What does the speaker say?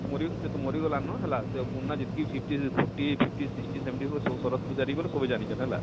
ମରୀ ସେ ତ ମରି ଗଲାନ ସେ ପୁରୁନା ଯେତକି fifty fifty fifty sixty seventy ହଉ ସବୁ ଶରତ ପୁଝାରୀ ବଇଲେ ସବେ ଜାଣିଛନ ହେଲା,